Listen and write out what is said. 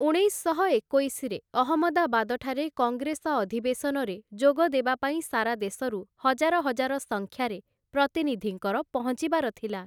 ଉଣେଇଶଶହ ଏକୋଇଶରେ ଅହମଦାବାଦଠାରେ କଙ୍ଗ୍ରେସ ଅଧିବେଶନରେ ଯୋଗ ଦେବାପାଇଁ ସାରା ଦେଶରୁ ହଜାର ହଜାର ସଂଖ୍ୟାରେ ପ୍ରତିନିଧିଙ୍କର ପହଞ୍ଚିବାର ଥିଲା ।